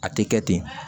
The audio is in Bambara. A tɛ kɛ ten